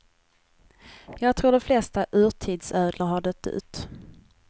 Jag tror de flesta urtidsödlor har dött ut.